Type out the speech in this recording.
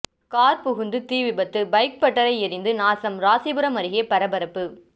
car புகுந்து தீ விபத்து பைக் பட்டறை எரிந்து நாசம் ராசிபுரம் அருகே பரபரப்பு